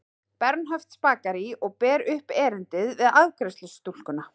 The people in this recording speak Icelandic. Bernhöftsbakaríi og ber upp erindið við afgreiðslustúlkuna.